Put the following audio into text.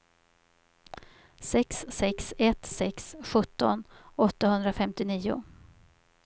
sex sex ett sex sjutton åttahundrafemtionio